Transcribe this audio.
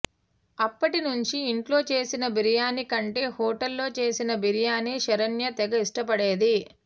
అప్పటి నుంచి ఇంట్లో చేసిన బిర్యానీకంటే హోటల్లో చేసిన బిర్యానీ శరణ్య తెగ ఇష్టపడేది